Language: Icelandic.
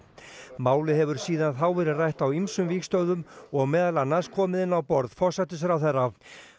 málið hefur síðan þá verið rætt á ýmsum vígstöðvum og meðal annars komið inn á borð forsætisráðherra